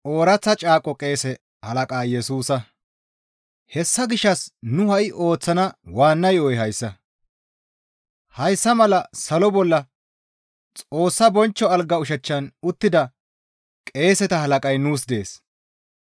Hessa gishshas nu ha7i ooththana waanna yo7oy hayssa; hayssa mala salo bolla Xoossa bonchcho alga ushachchan uttida qeeseta halaqay nuus dees.